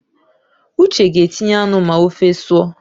Uche ga-etinye anụ ma ofe sụọ